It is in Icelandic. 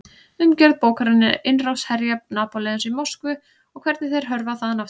Umgjörð bókarinnar er innrás herja Napóleons í Moskvu og hvernig þeir hörfa þaðan aftur.